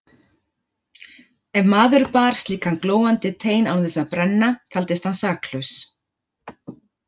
Ef maður bar slíkan glóandi tein án þess að brenna taldist hann saklaus.